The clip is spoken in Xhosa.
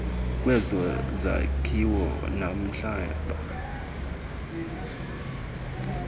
kwezo zakhiwo nomhlaba